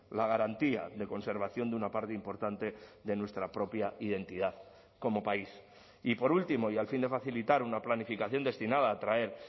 la garantía de conservación de una parte importante de nuestra propia identidad como país y por último y al fin de facilitar una planificación destinada a atraer